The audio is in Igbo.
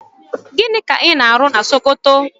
Gịnị ka ị na-arụ na Sokoto?